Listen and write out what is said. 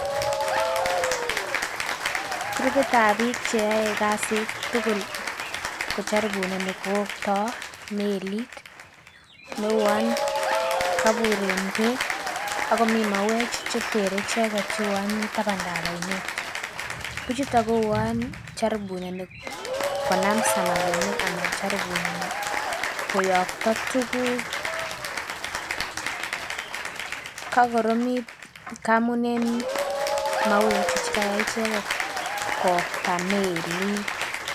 krupitab biik cheyoe kasit tukul kojoribuneni kowoktoo melit neuon kobur en beek akomii mauek chetere icheket cheuon mii tabandap oinet bichuton kouon joriboneni konam samakinik anan joribuneni koyokto tukuk, kakoromit amun en mauek chu chekayai icheket kowokta melit